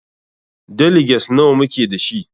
Deliges nawa muke dashi?